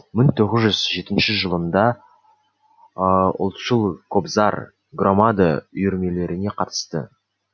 мың тоғыз жүз жетінші жылында ұлтшыл кобзарь громада үйірмелеріне қатысты